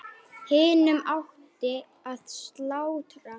Hinum átti að slátra.